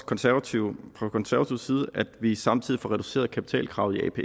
konservative at vi samtidig får reduceret kapitalkravet